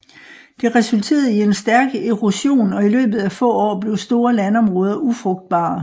Det resulterede i en stærk erosion og i løbet af få år blev store landområder ufrugtbare